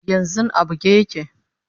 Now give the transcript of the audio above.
yanzun a buge yake